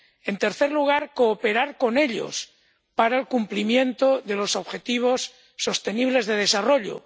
En tercer lugar, cooperar con ellos para el cumplimiento de los objetivos sostenibles de desarrollo.